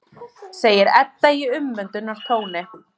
segir Edda í umvöndunartóni.